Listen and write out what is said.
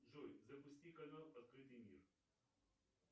джой запусти канал открытый мир